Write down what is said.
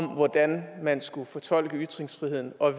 om hvordan man skulle fortolke ytringsfriheden og